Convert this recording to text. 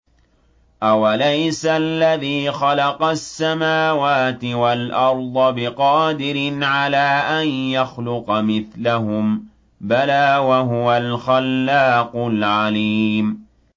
أَوَلَيْسَ الَّذِي خَلَقَ السَّمَاوَاتِ وَالْأَرْضَ بِقَادِرٍ عَلَىٰ أَن يَخْلُقَ مِثْلَهُم ۚ بَلَىٰ وَهُوَ الْخَلَّاقُ الْعَلِيمُ